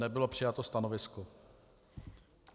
Nebylo přijato stanovisko.